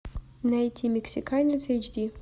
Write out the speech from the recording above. найти мексиканец эйч ди